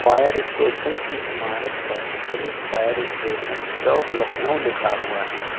Fire station की इमारत पर पुलिस फायर स्टेशन चौक लखनऊ लिखा हुआ है।